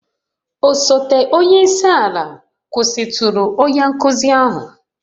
Osote onye isi ala kwụsịtụrụ onye nkuzi ahụ